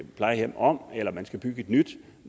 plejehjem om eller man skal bygge et nyt